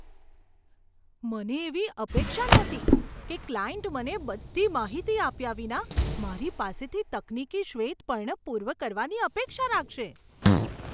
મને એવી અપેક્ષા નહોતી કે ક્લાયન્ટ મને બધી માહિતી આપ્યા વિના મારી પાસેથી તકનીકી શ્વેતપત્ર પૂર્ણ કરવાની અપેક્ષા રાખશે.